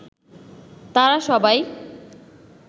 তারা সবাই